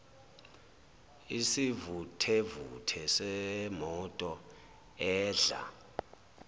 isivuthevuthe semoto edla